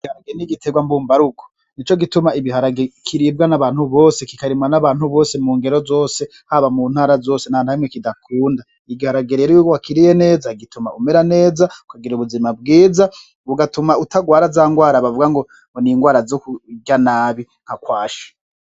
Igiharage n'igitegwa mbumba rugo, nico gituma igiharage kiribwa n'abantu bose, kikarimwa n'abantu bose mu ngero zose, haba mu ntara zose, ntanahamwe kidakunda, igiharage rero iyo wakiriye neza gituma umera neza, ukagira ubuzima bwiza, bigatuma utagwara za ngwara bavuga ngo, ngo n'ingwara zo kurya nabi nka kwashi.